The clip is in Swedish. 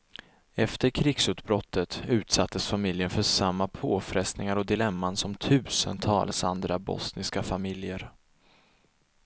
Efter krigsutbrottet utsattes familjen för samma påfrestningar och dilemman som tusentals andra bosniska familjer.